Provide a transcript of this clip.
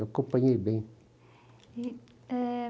Eu acompanhei bem. E, é...